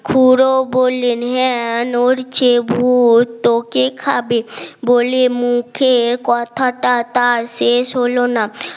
খুড়ো বললেন হ্যাঁ নড়ছে ভূত তোকে খাবে বলে মুখে কথাটা তার শেষ হলো না